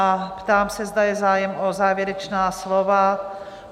A ptám se, zda je zájem o závěrečná slova?